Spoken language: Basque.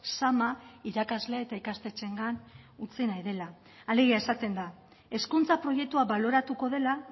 zama irakasle eta ikastetxeengan utzi nahi dela alegia esaten da hezkuntza proiektua baloratuko dela